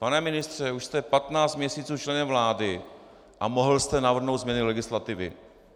Pane ministře, už jste 15 měsíců členem vlády a mohl jste navrhnout změny legislativy.